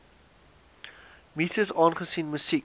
muses aangesien musiek